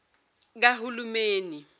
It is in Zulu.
kahulumeni